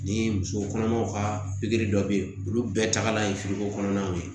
Ni muso kɔnɔmaw ka pikiri dɔ be ye olu bɛɛ tagalan ye ko kɔnɔna de don